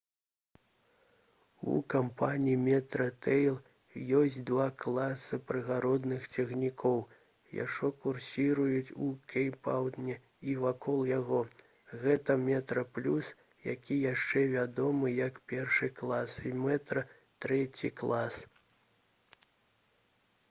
у кампаніі «метрарэйл» ёсць два класы прыгарадных цягнікоў што курсіруюць у кейптаўне і вакол яго. гэта «метраплюс» які яшчэ вядомы як першы клас і «метра» трэці клас